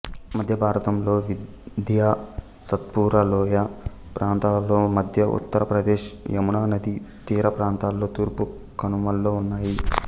మధ్యభారతం లోని వింధ్య సాత్పురా లోయ ప్రాంతాలలో మధ్య ఉత్తర ప్రదేశ్ యముననది తీరప్రాంతాల్లొ తూర్పు కనుమల్లో ఉన్నాయి